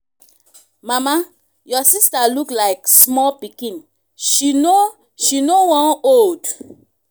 mama your sister look like small pikin she no she no wan old.